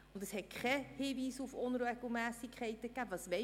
Und es hat keinen Hinweis auf Unregelmässigkeiten gegeben.